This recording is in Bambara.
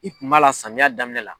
I kun b'a la samiya daminɛ la.